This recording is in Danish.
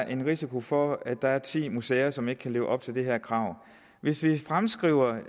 en risiko for at der er ti museer som ikke kan leve op til det her krav hvis vi fremskriver